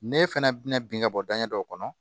Ne fana bɛna bin ka bɔ danɲɛ dɔ kɔnɔ